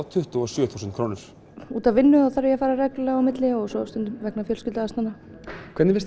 tuttugu og sjö þúsund krónur út af vinnu þá þarf ég að fara reglulega á milli og stundum vegna fjölskylduaðstæðna hvernig finnst